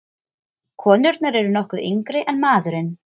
Konurnar eru nokkru yngri en maðurinn.